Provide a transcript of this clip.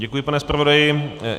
Děkuji, pane zpravodaji.